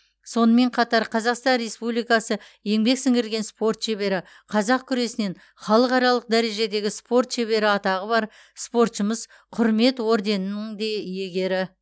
сонымен қатар қазақстан республикасы еңбек сіңірген спорт шебері қазақ күресінен халықаралық дәрежедегі спорт шебері атағы бар спортшымыз құрмет орденінің де иегері